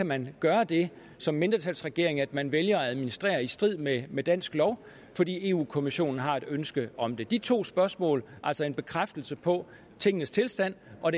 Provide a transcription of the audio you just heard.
man kan gøre det som mindretalsregering at man vælger at administrere i strid med med dansk lov fordi europa kommissionen har et ønske om det de to spørgsmål altså en bekræftelse på tingenes tilstand og